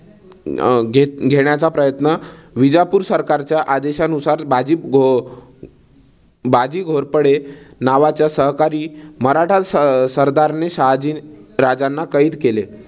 अं घेण्याचा प्रयत्न विजापूर सरकारच्या आदेशांनुसार बाजी अं बाजी घोरपडे नावाच्या सहकारी मराठा सरदारने शहाजी राजांना कैद केले.